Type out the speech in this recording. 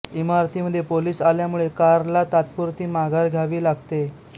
इमारती मध्ये पोलिस आल्यामुळे कार्लला तात्पुरती माघार घ्यावी लागते